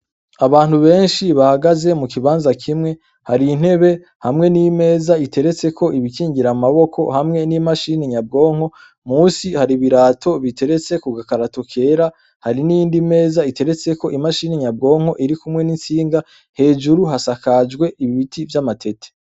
Abantu benshi bahagaze mukibanza kimwe, har'intebe hamwe n'imeza iriko ibikingirw amaboko hamwe n'imashini nyabwonko; Musi har'ibirato biteretse kugikarato cera; Hari n'iyindi meza igeretseko imashini nyabwonko irikumwe n'intsinga; Hejuru hasakajwe ibiti vy'amatete.